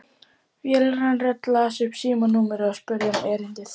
Vélræn rödd las upp símanúmerið og spurði um erindið.